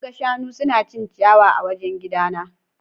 An ga shanu suna cin ciyawa a wajen gidana.